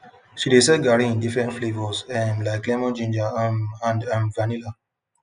she dey sell garri in different flavours um like lemon ginger um and um vanilla